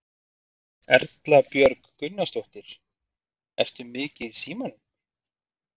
Erla Björg Gunnarsdóttir: Ertu mikið í símanum?